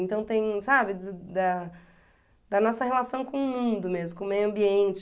Então tem, sabe, da da nossa relação com o mundo mesmo, com o meio ambiente.